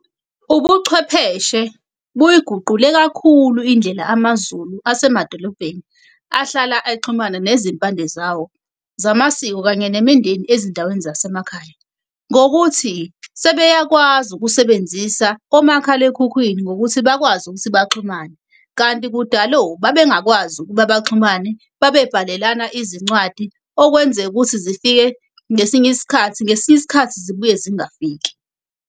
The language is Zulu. Ubuchwepheshe buyiguqule kakhulu indlela amaZulu asemadolobheni ahlala exhumana nezimpande zawo zamasiko, kanye nemindeni ezindaweni zasemakhaya. Ngokuthi sebeyakwazi ukusebenzisa omakhalekhukhwini ngokuthi bakwazi ukuthi baxhumane. Kanti kudalo babengakwazi ukuba baxhumane, babebhalelana izincwadi okwenzeka ukuthi zifike ngesinye isikhathi ngesinye isikhathi zibuye zingafiki.